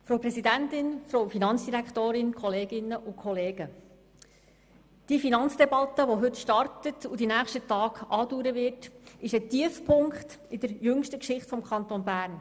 Die Finanzdebatte, die heute startet und die nächsten Tage andauern wird, ist ein Tiefpunkt in der jüngsten Geschichte des Kantons Bern.